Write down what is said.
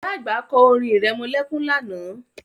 Ìyá àgbà kọ́ orin irẹmọlẹ́kún lánàá